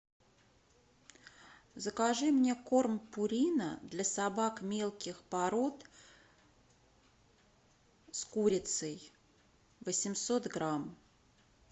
закажи мне корм пурина для собак мелких пород с курицей восемьсот грамм